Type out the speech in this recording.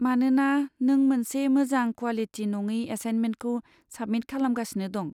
मानोना नों मोनसे मोजां क्वालिटि नङि एसाइन्मेन्टखौ साबमिट खालामगासिनो दं।